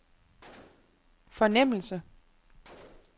fornemmelse